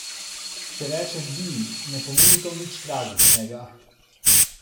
Če rečem bil, ne pomeni to nič tragičnega.